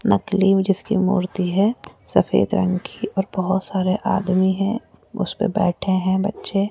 नकली जिसकी मूर्ति है सफेद रंग की और बहोत सारे आदमी हैं उसपे बैठे है बच्चे --